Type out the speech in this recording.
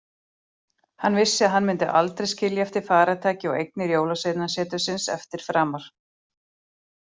Hann vissi að hann myndi aldrei skilja eftir farartæki og eignir jólasveinasetursins eftir framar.